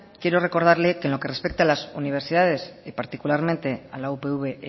quiero recordarle que en lo que respecta a las universidades y particularmente a la upv